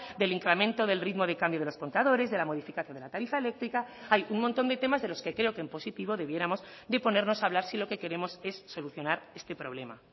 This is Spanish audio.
del incremento del ritmo de cambio de los contadores de la modificación de la tarifa eléctrica hay un montón de temas de los que creo que en positivo debiéramos de ponernos a hablar si lo que queremos es solucionar este problema